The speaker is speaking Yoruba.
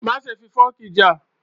Má ṣe fi fọọ̀kí já!